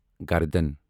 گردَن